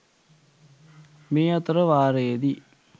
මේ අතර වාරයේදි